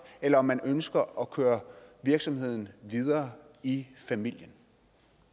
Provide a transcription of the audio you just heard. eller om man ønsker at køre virksomheden videre i familien